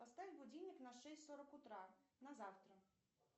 поставь будильник на шесть сорок утра на завтра